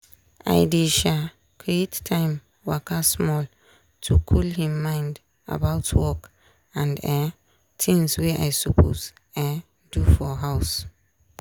i dey um create time waka small to cool him mind about work and um tings wey i suppose um do for house.